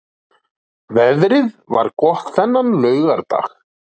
Veðrið var gott þennan laugardag.